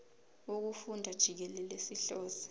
wokufunda jikelele sihlose